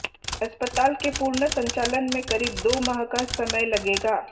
अस्पताल के पूर्ण संचालन में करीब दो माह का समय लगेगा